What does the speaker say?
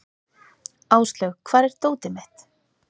Áslaug, hvar er dótið mitt?